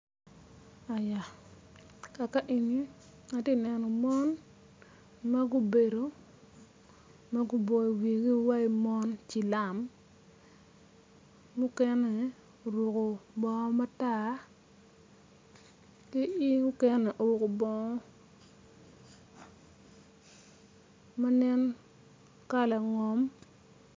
Kaka eni ati neno mon ma gubedo ma guboyo wigi iwaci mon cilam mukene oruko bongo matar ki mukene oruko bongo ma nen kala ngom.